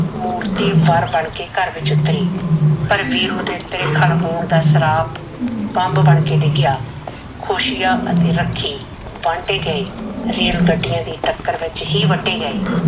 ਮੂਰਤੀ ਵਰ ਬਣ ਕੇ ਘਰ ਵਿਚ ਉਤਰੀ ਪਰ ਵੀਰੂ ਦੇ ਤ੍ਰਿਖਣ ਹੋਣ ਦਾ ਸਰਾਪ ਬੰਬ ਬਣ ਕੇ ਡਿੱਗਿਆ। ਖੁਸ਼ੀਆਂ ਅਤੇ ਰੱਖੀ ਵਾਂਢੇ ਗਏ, ਰੇਲ ਗੱਡੀਆਂ ਦੀ ਟੱਕਰ ਵਿਚ ਹੀ ਵੱਢੇ ਗਏ।